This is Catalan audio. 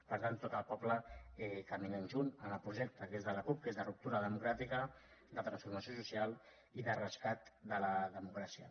per tant tot el poble caminant junts en el projecte que és de la cup que és de ruptura democràtica de transformació social i de rescat de la democràcia